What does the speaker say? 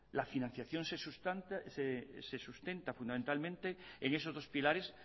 la financiación se sustenta fundamentalmente en esos dos pilares